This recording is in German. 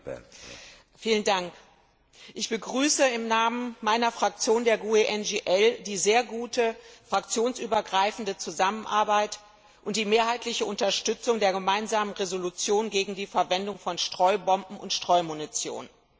Herr Präsident! Ich begrüße im Namen meiner Fraktion, der GUE NGL, die sehr gute fraktionsübergreifende Zusammenarbeit und die mehrheitliche Unterstützung der Gemeinsamen Entschließung gegen die Verwendung von Streubomben und Streumunition.